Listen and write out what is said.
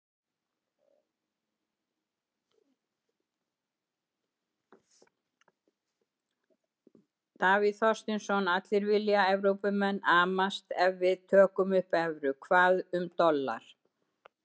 Davíð Þorsteinsson: Allir vilja, Evrópumenn amast ef við tökum upp evru, hvað um dollar?